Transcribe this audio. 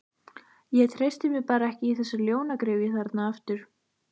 Ég treysti mér bara ekki í þessa ljónagryfju þarna aftur.